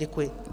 Děkuji.